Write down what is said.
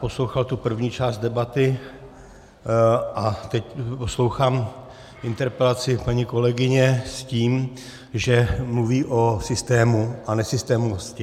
Poslouchal jsem první část debaty a teď poslouchám interpelaci paní kolegyně s tím, že mluví o systému a nesystémovosti.